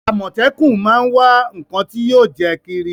Àmọ̀tẹ́kún máa ń wá ǹnkan tí yóò jẹ́ kírí